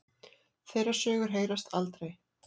Þeirra sögur heyrast aldrei.